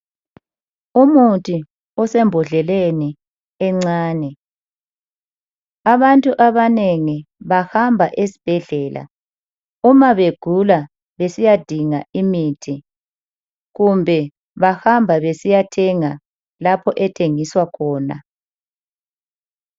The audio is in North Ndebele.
Umuthi osembodleleni encane abantu abanengi bahamba esibhedlela umabegula besiyadinga imithi kumbe bahamba besiyathenga lapho ethengiswa khona.